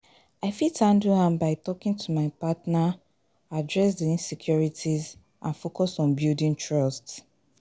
i fit handle am by talking to my partner, address di insecurites and focus on building trust.